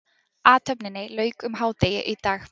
Athöfninni lauk um hádegi í dag